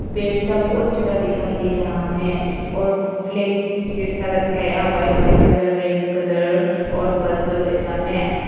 पेड़ सब बहुत ज्यादा दिखाई दे रहा है और फ्लैग जैसा लटकाया हुआ है वाइट कलर रेड कलर और पर्पल सामने।